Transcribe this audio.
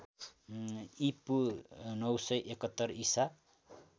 ईपू ९७१ ईसा